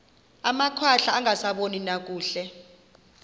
amakhwahla angasaboni nakakuhle